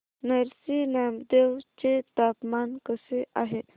नरसी नामदेव चे तापमान कसे आहे